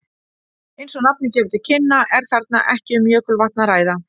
Eins og nafnið gefur til kynna er þarna ekki um jökulvatn að ræða.